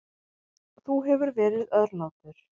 Þú hefur verið örlátur.